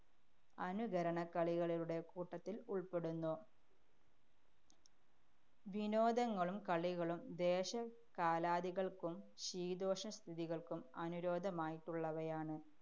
അനുകരണ ക്കളികളുടെ കൂട്ടത്തില്‍പ്പെടുന്നു. വിനോദങ്ങളും കളികളും ദേശകാലാദികള്‍ക്കും ശീതോഷ്ണ സ്ഥിതികള്‍ക്കും അനുരോധമായിട്ടുള്ളവയാണ്.